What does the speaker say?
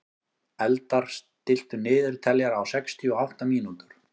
Eldar, stilltu niðurteljara á sextíu og átta mínútur.